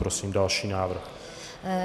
Prosím další návrh.